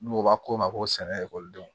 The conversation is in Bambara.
N'u b'a ko ma ko sɛnɛ ekɔlidenw